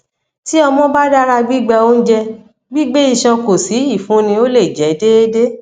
ti ọmọ ba dara gbigba ounjẹ gbigbe iṣan ko si ifunni o le jẹ deede